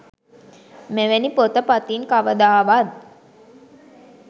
මෙවැනි පොත පතින් කවදාවත්